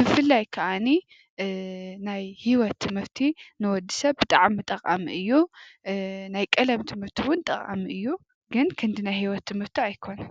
ብፍላይ ከኣኒ ናይ ሂወት ትምህርቲ ንወዲ ሰብ ብጣዕሚ ጠቃሚ እዩ። ናይ ቀለም ትምህርቲ እውን ጠቃሚ እዩ። ግን ክንዲ ናይ ሂወት ትምህርቲ ኣይኮነን።